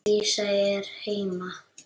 Dísa er heima!